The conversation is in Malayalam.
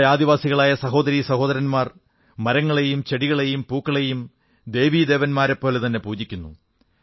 നമ്മുടെ ആദിവാസികളായ സഹോദരീ സഹോദരന്മാർ മരങ്ങളെയും ചെടികളെയും പൂക്കളെയും ദേവീദേവന്മാരെപ്പോലെതന്നെ പൂജിക്കുന്നു